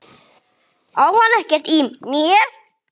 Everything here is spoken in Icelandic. Á hann ekkert í mér?